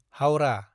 Howrah